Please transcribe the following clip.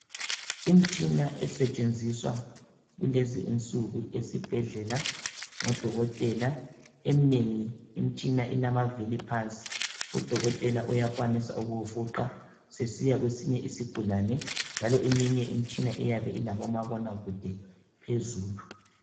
Imitshina esetshenziswa kulezi insuku esibhedlela ngodokotela. Eminengi imitshina ilamavili phansi, udokotela uyakwanisa ukuwufuqa sesiya kwesinye isigulane njalo eminye imitshina iyabe ilabomabonakude phezulu